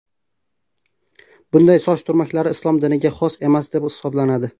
Bunday soch turmaklari Islom diniga xos emas, deb hisoblanadi.